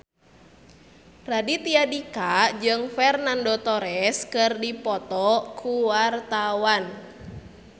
Raditya Dika jeung Fernando Torres keur dipoto ku wartawan